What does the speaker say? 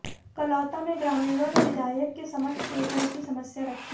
कलौता में ग्रामीणों ने विधायक के समक्ष पेयजल की समस्या रखी